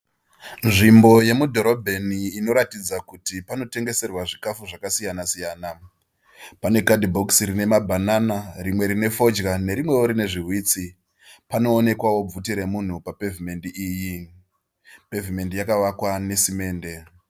Nvimbo yemudhorobheni inoratidza kuti panotengeserwa zvikafu zvakasiyana siyana. pane kadhibhokisi rine mabhanana , rimwe rine fodya nerimwewo rine zviwitsi. Panoonekwawo bvute remunhu papevhimendi iyi. Pevhimendi yakavakwa nesimende.